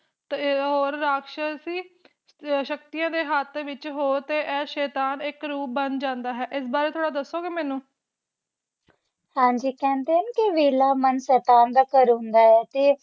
ਪ੍ਰਰ ਹੋਰ ਰਾਕਸ਼ਸ਼ ਦੀ ਸ਼ਕਤੀਆਂ ਦੇ ਹੱਥ ਹੋ ਤੇ ਇਹ ਸ਼ੈਤਾਨ ਇਕ ਰੂਪ ਬਣ ਜਾਂਦਾ ਹੈ ਇਸ ਬਾਰੇ ਥੋੜਾ ਦੱਸੋਗੇ ਮੈਨੂੰ ਹਾਂਜੀ ਕਹਿੰਦੇ ਹਨ ਕੇ ਵੇਹਲਾ ਮਨ ਸ਼ੈਤਾਨ ਦਾ ਘਰ ਹੁੰਦਾ ਹੈ ਤੇ